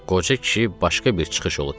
Qoca kişi başqa bir çıxış yolu tapdı.